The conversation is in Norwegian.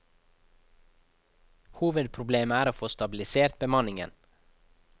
Hovedproblemet er å få stabilisert bemanningen.